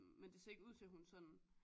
Men det ser ikke ud til hun sådan